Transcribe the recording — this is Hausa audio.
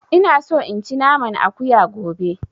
Ina so in ci naman Akuya gobe